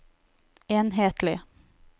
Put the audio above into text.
enhetlig